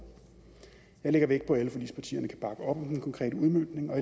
jeg lægger vægt på at alle forligspartierne kan bakke op om den konkrete udmøntning og